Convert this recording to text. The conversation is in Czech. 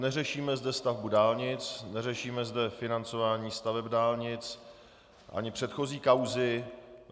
Neřešíme zde stavbu dálnic, neřešíme zde financování staveb dálnic ani předchozí kauzy.